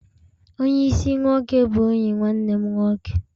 Onye isi-nwoke bụ enyi nwanne m nwoke